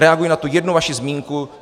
Reaguji na tu jednu vaši zmínku.